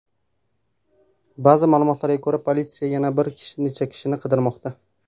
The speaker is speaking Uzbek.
Ba’zi ma’lumotlarga ko‘ra, politsiya yana bir necha kishini qidirmoqda.